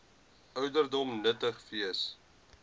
ouderdom nuttig wees